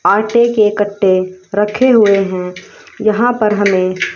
आटे के कट्टे रखे हुए हैं यहां पर हमें--